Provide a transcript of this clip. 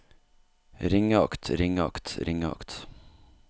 ringeakt ringeakt ringeakt